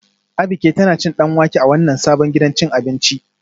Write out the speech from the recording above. Abike tana cin danwake a wannan sabon gidan cin abinci